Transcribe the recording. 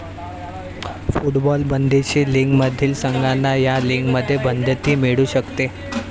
football बंदिशी लीगमधील संघांना या लीगमध्ये बढती मिळू शकते